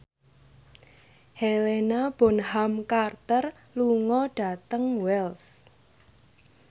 Helena Bonham Carter lunga dhateng Wells